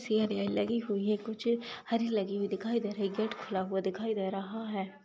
Serial लगी हुई है कुछ हरी लगी हुई दिखाई दे रही-- गेट खुला हुआ दिखाई दे रहा है।